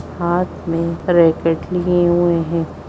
हाथ में रैकेट लिए हुए है।